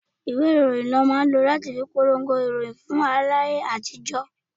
Ìwé ìròyìn ni wọn máa ń lọ láti fi polongo ìròyìn fún aráyé láyé àtijó.